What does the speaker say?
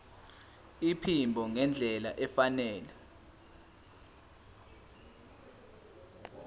iphimbo ngendlela efanele